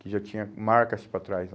Que já tinha marcas para trás lá.